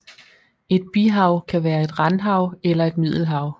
Et bihav kan være et randhav eller et middelhav